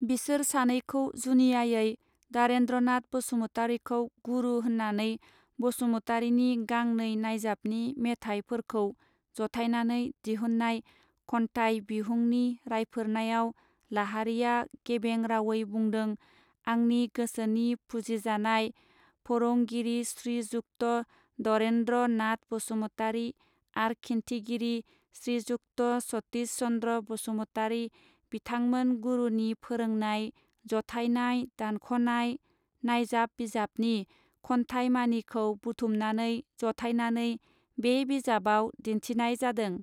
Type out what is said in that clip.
बिसोर सानैखौ जुनियायै दुारेन्द्रनाथ बसुमतारीखौ गुरू होननानै बसुमतारीनि गांनै नायजाबनि मेथाय फोरखौ जथायनानै दिहुननाय खन्थाई बिहुंनि रायफोरनायाव लाहारीया गेबें रावै बुंदों आंनि गोसोनि फुजिजानाय फवरवंगिरिश्रीयुक्त दरेंन्द्र नाथ बसुमतारी आरखिन्थिगिरि श्रीयुक्त सतीष चन्द्र बसुमतारी बिथांमोन गुरूनि फोरोंनाय जथायनाय दानख नाय नायजाब बिजाबनि खन्थाइ मानिखौ बुथुमनानै जथायनानै बे बिजाबाव दिन्थिनाय जादों.